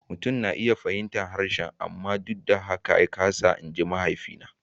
Mutum na iya fahimtar harshe amma duk da haka ya kasa magana, in ji mahaifina.